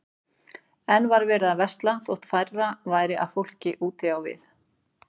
Enn var verið að versla þótt færra væri af fólki úti við.